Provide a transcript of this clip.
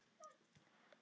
Sá engan.